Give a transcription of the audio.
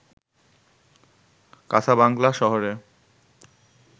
Casablanca শহরে